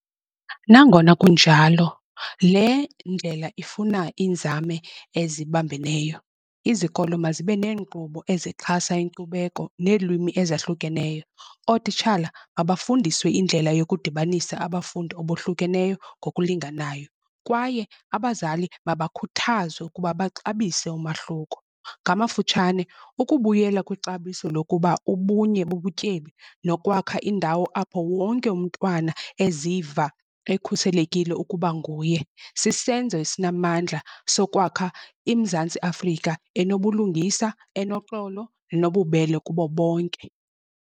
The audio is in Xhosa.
Nangona kunjalo le ndlela ifuna iinzame ezibambeneyo. Izikolo mazibe neenkqubo ezixhasa inkcubeko neelwimi ezahlukeneyo, ootitshala mabafundiswe indlela yokudibanisa abafundi abohlukeneyo ngokulinganayo kwaye abazali mabakhuthazwe ukuba baxabise umahluko. Ngamafutshane ukubuyela kwixabiso lokuba ubunye bubutyebi nokwakha indawo apho wonke umntwana eziva ekhuselekile ukuba nguye sisenzo esinamandla sokwakha iMzantsi Afrika enobulungisa enoxolo nobubele kubo bonke.